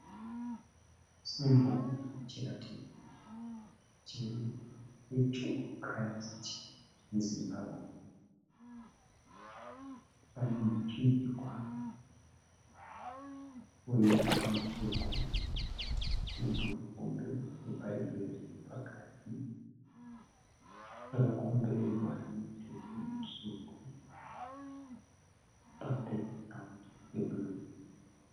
Simboo kana chiratidzo che 'Church of Christ in Zimbabwe'. Pane muchinjikwa mutsvuku nebhuku hombe rebhaibheri riripakati rakakomberedzwa nemitsetse mitsvuku pabhekigiraundi yebhuruu.